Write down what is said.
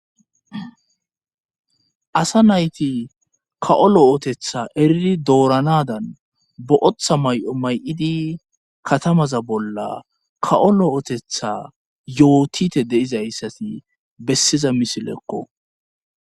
Asa nayti ka'o lo'ootetha eriri dooranadan bo7oththa may7o may7idi katamaza bolla ka7o lo7ootetha yootite deizayssati bessiza misileekko.